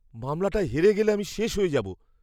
মামলাটায় হেরে গেলে আমি শেষ হয়ে যাবো।